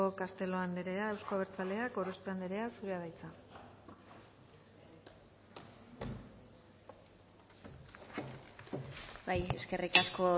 castelo anderea euzko abertzaleak gorospe anderea zurea da hitza bai eskerrik asko